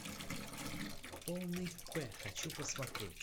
полный п хочу посмотреть